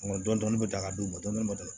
dɔnni bɛ taa k'a d'u ma dɔɔni